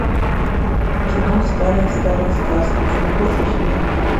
кино старая старая сказка ты найдешь у себя